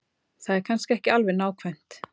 Það er kannski ekki alveg nákvæmt.